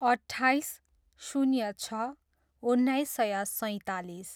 अट्ठाइस, शून्य छ, उन्नाइस सय सैँतालिस